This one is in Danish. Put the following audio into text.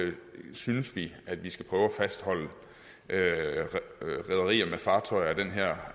synes vi at vi skal prøve at fastholde rederier med fartøjer af den her